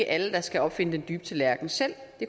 alle der skal opfinde den dybe tallerken selv det